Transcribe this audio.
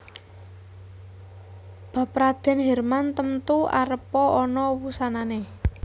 Bab Radèn Hirman temtu arepa ana wusanané